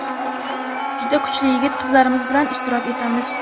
juda kuchli yigit-qizlarimiz bilan ishtirok etamiz.